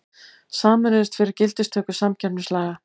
Sameinuðust fyrir gildistöku samkeppnislaga